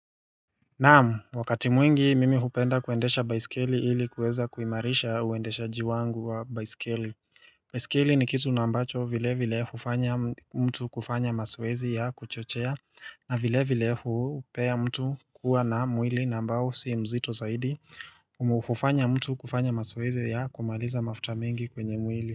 Naam, wakati mwingi mimi hupenda kuendesha baisikeli ili kuweza kuimarisha uendesha jiwangu wa baisikeli. Baisikeli ni kitu naambacho vile vile hufanya mtu kufanya mazoezi ya kuchochea na vile vile hupea mtu kuwa na mwili nambao si mzito zaidi. Hufanya mtu kufanya mazoezi ya kumaliza mafuta mingi kwenye mwili.